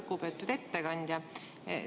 Lugupeetud ettekandja!